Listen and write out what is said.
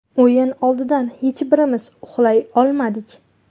O‘yin oldidan hech birimiz uxlay olmadik.